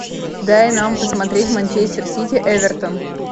дай нам посмотреть манчестер сити эвертон